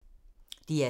DR2